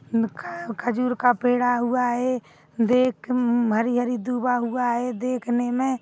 खजूर का पेडा हुआ है देख उममम हरी-हरी दूबा हुआ है देखने मे--